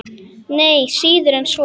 Nei, síður en svo.